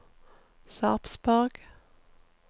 Sarpsborg